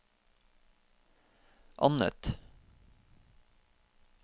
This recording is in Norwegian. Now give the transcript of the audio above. annet